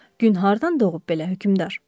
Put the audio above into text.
Gün hardan doğub belə hökmdar?